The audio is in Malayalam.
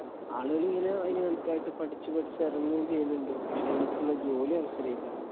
ആളുകളിങ്ങനെ അതിനു കണക്കായിട്ട് പഠിച്ചു പഠിച്ചു ഇറങ്ങുകയും ചെയ്യുന്നുണ്ട് പക്ഷെ ശരിക്കുള്ള ജോലി അവസരമില്ല.